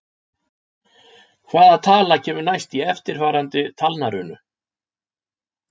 Hvaða tala kemur næst í eftirfarandi talnarunu?